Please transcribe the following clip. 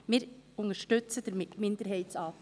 Wir unterstützen damit den Minderheitsantrag.